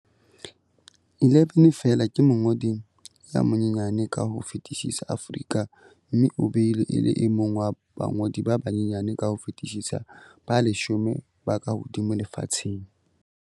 11 feela, ke mongodi ya monyenyane ka ho fetisisa Aforika mme o beilwe e le e mong wa bangodi ba banyenyane ka ho fetisisa ba leshome ba kahodimo lefatsheng.